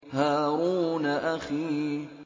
هَارُونَ أَخِي